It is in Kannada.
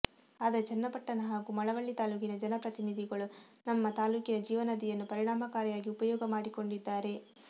ಆದರೆ ಚನ್ನಪಟ್ಟಣ ಹಾಗೂ ಮಳವಳ್ಳಿ ತಾಲ್ಲೂಕಿನ ಜನಪ್ರತಿನಿಧಿಗಳು ನಮ್ಮ ತಾಲ್ಲೂಕಿನ ಜೀವನದಿಯನ್ನು ಪರಿಣಾಮಕಾರಿಯಾಗಿ ಉಪಯೋಗ ಮಾಡಿಕೊಂಡಿದ್ದಾರೆ